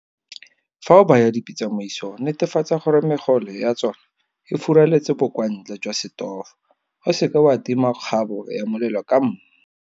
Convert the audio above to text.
Fa o baya dipitsa mo isong netefatsa gore megole ya tsona e furaletse bokwantle jwa setofo. O seke wa tima kgabo ya molelo ka mmu.